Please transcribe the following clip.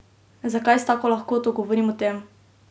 Zakaj s tako lahkoto govorim o tem?